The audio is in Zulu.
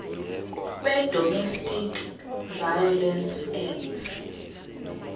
wedomestic violence act